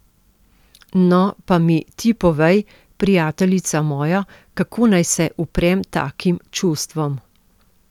No, pa mi ti povej, prijateljica moja, kako naj se uprem takim čustvom!